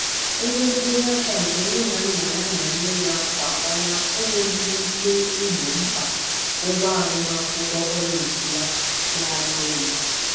Ego mkpọnyeaka nke nne na Nna ya na-enye ya kwà ọnwa inwelighi ike igbo mkpa ụgwọ agụmakwụkwọ koleji ya na-arị elu.